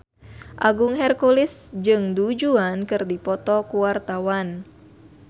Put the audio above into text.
Agung Hercules jeung Du Juan keur dipoto ku wartawan